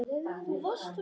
Hugsa einsog einn maður.